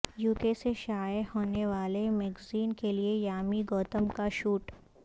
UK سے شائع ہونے والے میگزین کیلئے یامی گوتم کا شوٹ